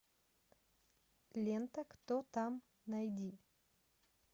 лента кто там найди